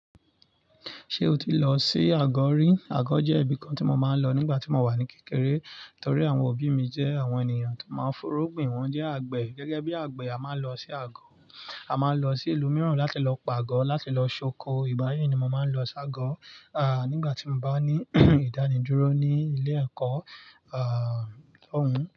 Ṣé o ti lọ sí àgọ̀ rí? Àgọ̀ jẹ́ ibìkan tí mo máa ń lọ nígbà tí mo wà ní kékeré torí àwọn òbí mi jẹ́ àwọn ènìyàn tó máa ń f'oró gbin, wọ́n jẹ́ àgbẹ̀. Gẹ́gẹ́ bí àgbẹ̀, a máa ń lọ sí àgọ̀, a máa ń lọ sí ìlú mìíràn láti lọ pàgọ́, láti lọ ṣoko. Ìbáyi ni mo máa ń lọ ṣágo, à, nígbà tí mo bá ní ìdánidúró ní ilé ẹ̀kọ́, à, ọ̀hún.